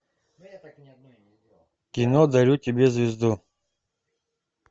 кино дарю тебе звезду